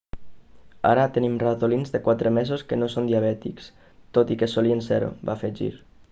ara tenim ratolins de quatre mesos que no són diabètics tot i que solien ser-ho va afegir